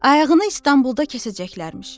Ayağını İstanbulda kəsəcəklərmiş.